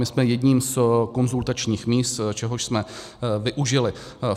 My jsme jedním z konzultačních míst, čehož jsme využili.